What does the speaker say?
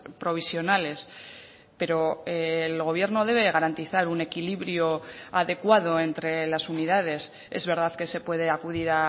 provisionales pero el gobierno debe garantizar un equilibrio adecuado entre las unidades es verdad que se puede acudir